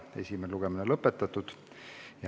Esimene lugemine on lõpetatud.